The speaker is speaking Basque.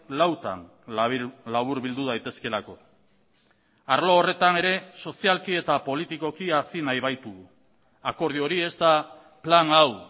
lautan laburbildu daitezkeelako arlo horretan ere sozialki eta politikoki hazi nahi baitugu akordio hori ez da plan hau